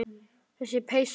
Þessi peysa!